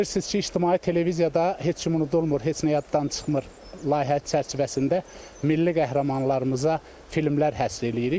Bilirsiniz ki, ictimai televiziyada heç kim unudulmur, heç nə yaddan çıxmır layihə çərçivəsində milli qəhrəmanlarımıza filmlər həsr eləyirik.